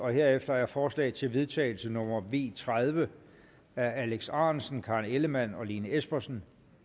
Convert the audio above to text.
herefter er forslag til vedtagelse nummer v tredive af alex ahrendtsen karen ellemann og lene espersen